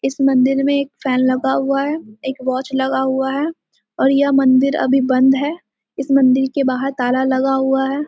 इस मंदिर में एक फैन लगा हुआ है एक वॉच लगा हुआ है और यह मंदिर अभी बंद है। इस मंदिर के बाहर ताला लगा हुआ है।